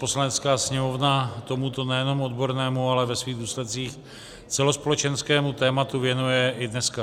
Poslanecká sněmovna tomuto nejenom odbornému, ale ve svých důsledcích celospolečenskému tématu věnuje i dneska.